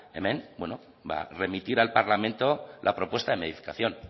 hemen remitir al parlamento la propuesta de modificación